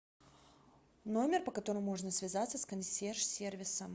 номер по которому можно связаться с консьерж сервисом